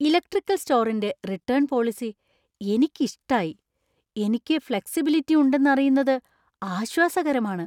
Electrical സ്റ്റോറിന്‍റെ return policy എനിക്കിഷ്ടായി; എനിക്ക് ഫ്ലെക്സിബിലിറ്റി ഉണ്ടെന്ന് അറിയുന്നത് ആശ്വാസകരമാണ്.